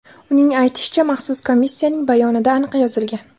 Uning aytishicha, Maxsus komissiyaning bayonida aniq yozilgan.